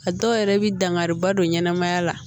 A dɔw yɛrɛ bɛ dangari ba don ɲɛnɛmaya la